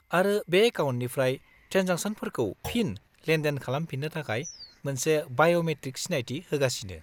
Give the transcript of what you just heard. -आरो बे एकाउन्टनिफ्राय ट्रेन्जेकसनफोरखौ फिन लेनदेन खालामफिननो थाखाय मोनसे बाय'मेट्रिक सिनायथि होगासिनो।